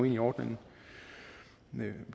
ind i ordningen